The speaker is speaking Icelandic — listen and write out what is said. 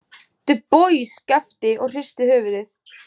Dubois gapti og hristi höfuðið.